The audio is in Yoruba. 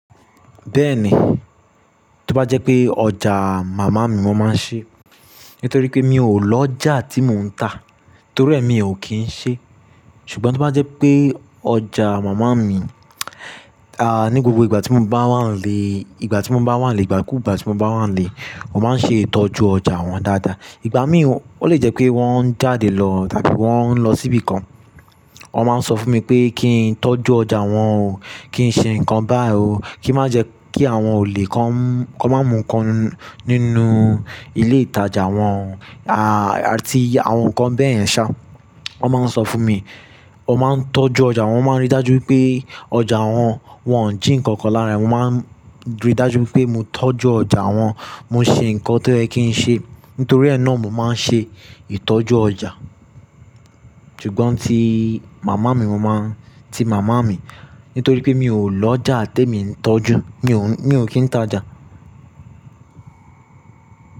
Bẹ́ẹ̀ni, tó bá jẹ́ pé ọjà màmá mi mo máa ń ṣi, nítorí pé mi ò lọ́jà tí mò ń tà, torí ẹ mi ò kí ń ṣe. Ṣùgbọ́n tó bá jẹ́ pé ọjà màmá mi, à, ní gbogbo ìgbà tí mo bá wà n lé, ìgbà tí mo bá wà nílé, ìgbà kúùgbà tí mo bá wà nílé, wọ́n máa ń ṣe ìtọ́jú ọjà wọn dáadáa. Ìgbà mí wọ́n le jẹ́ pé wọ́n ń jáde lọ tàbí wọ́n ń lọ síbìkan, wọ́n máa ń sọ fún mi pé kí n tọ́jú ọjà wọn o, kí n ṣe nǹkan bá o, kí n má jẹ́ kí àwọn olè kan, kan má mú ǹkan nínú ilé ìtajà wọn, à, àti àwọn ǹkan bẹ́ẹ̀ yẹn ṣá. Wọ́n máa ń sọ fún mi, wọ́n máa ń tọ́jú ọjà wọn, wọ́n máa ń rí dájú wipé ọjà wọn, wọn n jí ǹkan kan lára ẹ, wọ́n máa ń rí dájú pé mo tọ́jú ọjà wọn, mo ṣe ǹkan tó ẹ́ kí ń ṣe. Nítorí ẹ́ náà mo máa ń ṣe ìtọ́jú ọjà. Ṣùgbọ́n ti màmá mi mo máa ń, ti màmá mi, nítorí pé mi ò lọ́jà tèmi ń tọ́jú, mi ò ń, mi ò kí ń tajà.